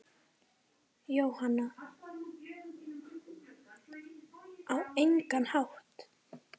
Jóhann: Á engan hátt?